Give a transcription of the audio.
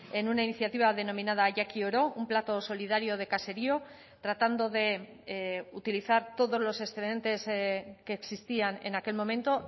en una iniciativa denominada jakioro un plato solidario de caserío tratando de utilizar todos los excedentes que existían en aquel momento